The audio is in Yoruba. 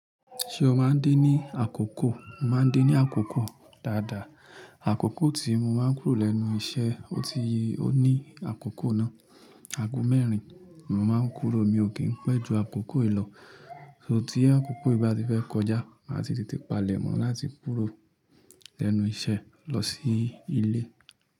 Ṣé o máa ń dé ní àkókò? Mo máa ń dé ní àkókò dáadáa. Àkókò tí mo máa ń kúrò lẹ́nu iṣẹ́, ó ti, ó ní àkókò náà, ago mẹ́rin. Mo máa ń kúrò, mi ò kí ń pẹ́ jù àkókò yiì lọ̀. So tí àkókò yii bá ti fẹ́ kọjá, màá ti tètè palẹ̀ mọ́ láti kúrò lẹ́nu iṣẹ́ lọ sí ilé.